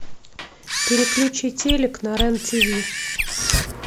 переключи телек на рен тв